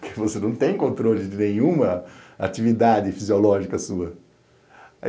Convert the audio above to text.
Porque você não tem controle de nenhuma atividade fisiológica sua.